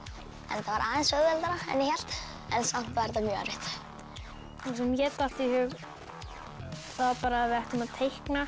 þetta var aðeins auðveldara en ég hélt en samt var þetta mjög erfitt það sem mér datt í hug var bara að við ættum að teikna